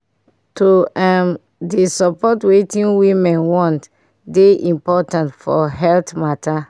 to um dey support wetin women want dey important for health matta